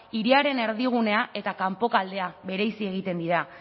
hiriaren erdigunea eta kanpoko aldea bereizi egiten dira